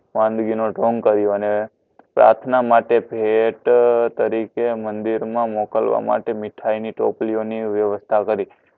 અને પ્રાથના માટે ભેટ તરીકે મંદિર મા મોકલવાના માટે મીઠાઇ ની ટોપલીઓ ની વ્યવસ્થા કરી